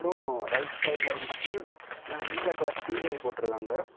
அப்புறம் ரைட் சைடுல வந்துட்டு நீல கலர் சீரியல் போட்டு இருக்காங்க.